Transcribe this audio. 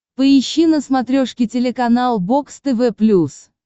поищи на смотрешке телеканал бокс тв плюс